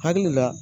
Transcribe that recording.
Hakili la